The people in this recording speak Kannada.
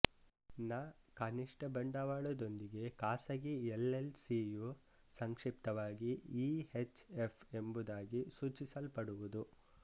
ನ ಕನಿಷ್ಠ ಬಂಡವಾಳದೊಂದಿಗೆ ಖಾಸಗಿ ಎಲ್ಎಲ್ ಸಿಯು ಸಂಕ್ಷಿಪ್ತವಾಗಿ ಈಹೆಚ್ ಎಫ್ ಎಂಬುದಾಗಿ ಸೂಚಿಸಲ್ಪಡುವುದು